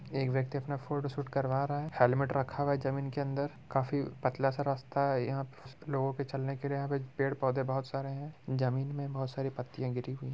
एक व्यक्ति अपना फोटो शूट करवा रहा है हेलमेट रखा हुआ है जमीन के अंदर काफी पतला सा रास्ता यहाँ पर लोगों को चलने के लिए यहां पेड़-पौधे बोहोत सारे हैं जमीन में बोहत सारी पत्तियां गिरि हुई हैं।